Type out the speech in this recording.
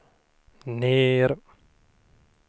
ner